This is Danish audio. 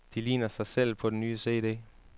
De ligner sig selv på den nye cd.